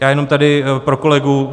Já jenom tady pro kolegu.